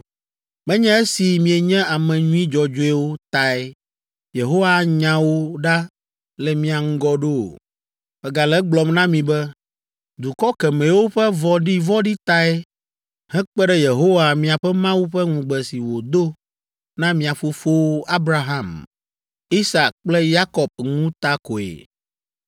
Menye esi mienye ame nyui dzɔdzɔewo tae Yehowa anya wo ɖa le mia ŋgɔ ɖo o! Megale egblɔm na mi be, dukɔ kemɛwo ƒe vɔ̃ɖivɔ̃ɖi tae hekpe ɖe Yehowa miaƒe Mawu ƒe ŋugbe si wòdo na mia fofowo, Abraham, Isak kple Yakob ŋu ta koe.